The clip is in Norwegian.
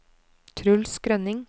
Truls Grønning